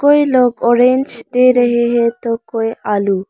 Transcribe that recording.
कोई लोग ऑरेंज दे रहे हैं तो कोई आलू।